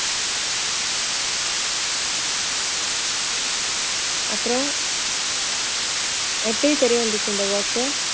அப்புறம் எப்படி தெரிய வந்துச்சு இந்த work உ